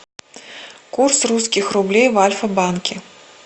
курс русских рублей в альфа банке